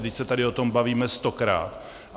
Vždyť se tady o tom bavíme stokrát!